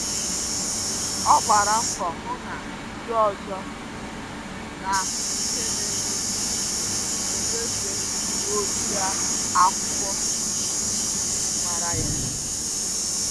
Ọ gbara mbọ hụ na ndị ọzọ um na-ahụ ihe na-eme tupu onyefe ndị uwe ojii akwụkwọ ejim mara ya